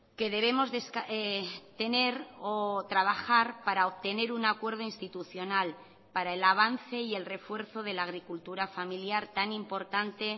que debemos tener o trabajar para obtener un acuerdo institucional para el avance y el refuerzo de la agricultura familiar tan importante